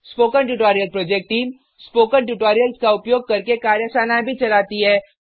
spoken tutorial project team spoken tutorials का उपयोग करके कार्यशालाएँ भी चलाती है